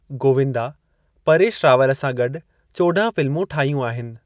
गोविंदा परेश रावल सां गॾु चौॾहं फ़िल्मूं ठाहियूं आहिनि।